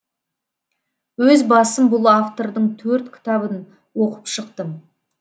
өз басым бұл автордың төрт кітабын оқып шықтым